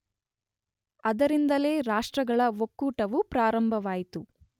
ಅದರಿಂದಲೇ ರಾಷ್ಟ್ರಗಳ ಒಕ್ಕೂಟವು ಪ್ರಾರಂಭವಾಯಿತು.